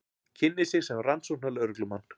Kynnir sig sem rannsóknarlögreglumann.